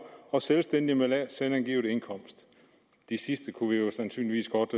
og selvstændige med lavt selvangivet indkomst de sidste kunne vi sandsynligvis godt